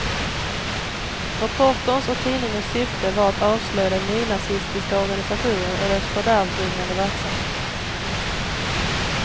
Reporterns och tidningens syfte var att avslöja den nynazistiska organisationen och dess fördärvbringande verksamhet.